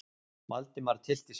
Valdimar tyllti sér.